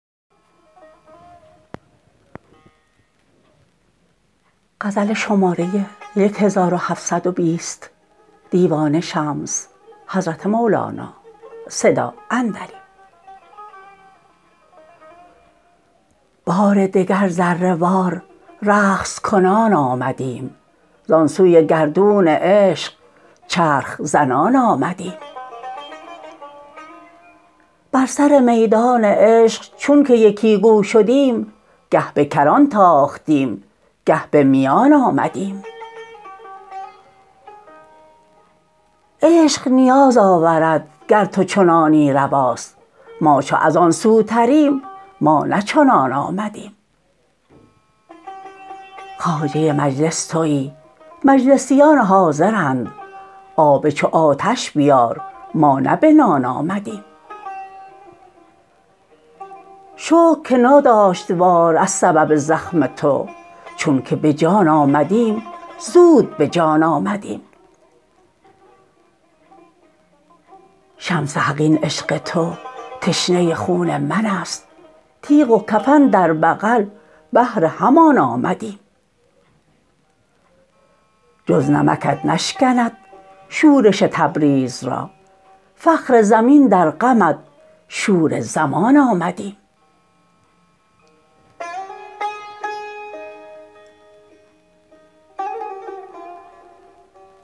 بار دگر ذره وار رقص کنان آمدیم زان سوی گردون عشق چرخ زنان آمدیم بر سر میدان عشق چونک یکی گو شدیم گه به کران تاختیم گه به میان آمدیم عشق نیاز آورد گر تو چنانی رواست ما چو از آن سوتریم ما نه چنان آمدیم خواجه مجلس توی مجلسیان حاضرند آب چو آتش بیار ما نه بنان آمدیم شکر که ناداشت وار از سبب زخم تو چون که به جان آمدیم زود به جان آمدیم شمس حق این عشق تو تشنه خون من است تیغ و کفن در بغل بهر همان آمدیم جز نمکت نشکند شورش تبریز را فخر زمین در غمت شور زمان آمدیم